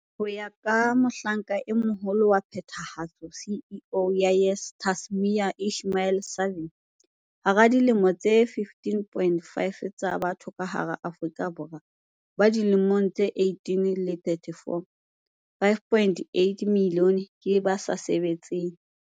Ho ya ka Mohlanka e Moho -lo wa Phethahatso, CEO, ya YES Tashmia Ismail-Saville, hara dimilione tse 15.5 tsa batho ka hara Aforika Borwa ba dilemong tse 18 le 34, 5.8 milione ke ba sa sebetseng.